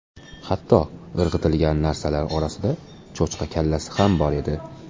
Hatto irg‘itilgan narsalar orasida cho‘chqa kallasi ham bor edi.